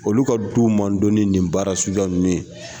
Olu ka du man dɔn ni nin baara suguya ninnu ye!